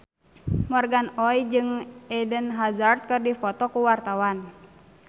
Morgan Oey jeung Eden Hazard keur dipoto ku wartawan